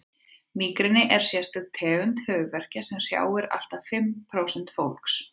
mígreni er sérstök tegund höfuðverkja sem hrjáir allt að því fimm prósent fólks